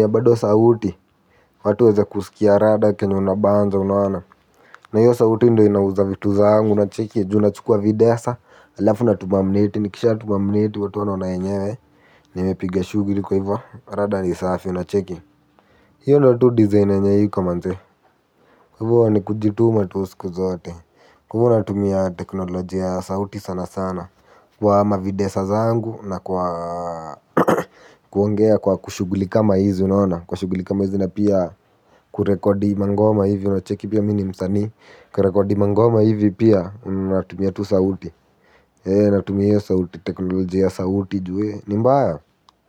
ya sauti watu waweze kusikia rada kenye unabanja unaona, na hiyo sauti ndo inauza vitu zangu. Unacheki juu nachukuwa videsa. Alafu natuma mneti nikisha tuma mneti watu wanaona enyewe. Nimepiga shughuli kwa hivo rada ni safi unacheki hiyo ndo tu design yenye iko manze kwa hivo ni kujituma tu siku zote kwa hivo natumia teknolojia ya sauti sana sana kwa mavidesa zangu na kwa kuongea kwa kushuguli kama hizo unaona kwa kushuguli kama hizo na pia kurekodi mangoma hivi unacheki pia mi ni msani kurekodi mangoma hivi pia natumia tu sauti ee natumia sauti teknolojia ya sauti ju ni mbaya.